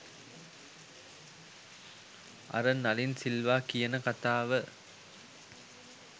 අර නලින් සිල්වා කියන කතාව